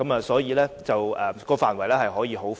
所以，當中的範圍可以是很寬闊的。